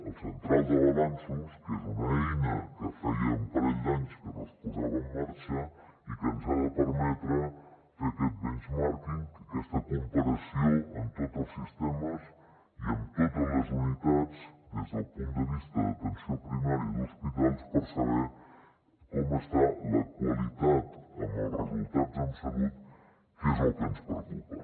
la central de balanços que és una eina que feia un parell d’anys que no es posava en marxa i que ens ha de permetre fer aquest benchmarking aquesta comparació amb tots els sistemes i amb totes les unitats des del punt de vista d’atenció primària d’hospitals per saber com està la qualitat amb els resultats en salut que és el que ens preocupa